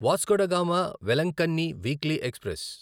Vasco da Gama Velankanni weekly express